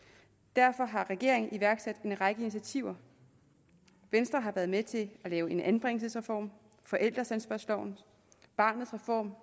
derfor har regeringen iværksat en række initiativer venstre har været med til at lave en anbringelsesreform en forældreansvarslov barnets reform